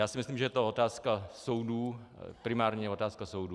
Já si myslím, že je to otázka soudů, primárně otázka soudů.